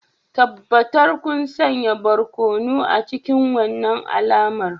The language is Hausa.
Tabbatar kun sanya barkono a cikin wannan alamar